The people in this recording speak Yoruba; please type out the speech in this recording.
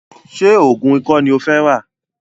Ṣé oògùn ikọ́ ní o fẹ́ rà?